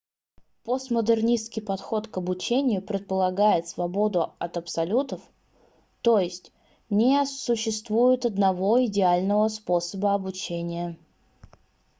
постмодернистский подход к обучению предлагает свободу от абсолютов т.е. не существует одного идеального способа обучения